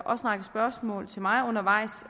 række spørgsmål til mig undervejs